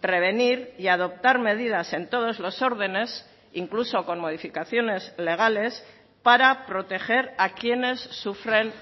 prevenir y adoptar medidas en todos los órdenes incluso con modificaciones legales para proteger a quienes sufren